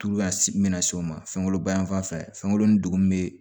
bɛna se o ma fɛn kolon ba yan fan fɛ fɛn kolon ni dugun bee